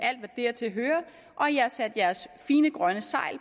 alt har sat jeres fine grønne segl